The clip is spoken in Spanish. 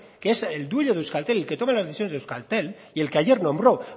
que es el dueño de euskaltel es el que toma las decisiones de euskaltel y el que ayer nombro